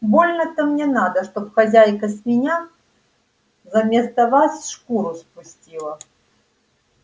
больно-то мне надо чтоб хозяйка с меня заместо вас шкуру спустила